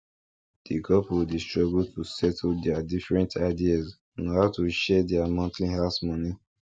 di couple dey struggle to settle their different ideas on how to share their monthly house money